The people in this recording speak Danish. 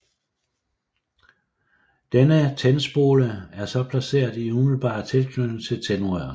Denne tændspole er så placeret i umiddelbar tilknytning til tændrøret